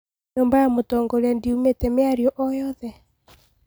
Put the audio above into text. Nyũmba ya mũtongoria ndiumetie mĩario o yoothe